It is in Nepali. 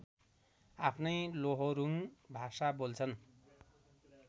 आफ्नै लोहोरुङ भाषा बोल्छन्